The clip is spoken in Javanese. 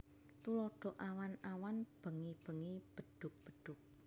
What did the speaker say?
Tuladha Awan awan bengi bengi bedhug bedhug